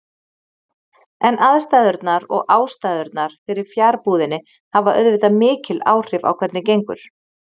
En aðstæðurnar og ástæðurnar fyrir fjarbúðinni hafa auðvitað mikil áhrif á hvernig gengur.